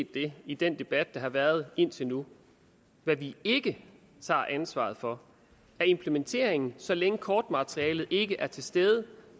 det i den debat der har været indtil nu hvad vi ikke tager ansvaret for er implementeringen så længe kortmaterialet ikke er til stede